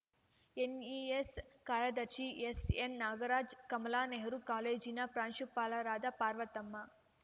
NES ಕಾರ್ಯದರ್ಶಿ ಎಸ್‌ಎನ್‌ನಾಗರಾಜ್‌ ಕಮಲಾ ನೆಹರೂ ಕಾಲೇಜಿನ ಪ್ರಾಂಶುಪಾಲರಾದ ಪಾರ್ವತಮ್ಮ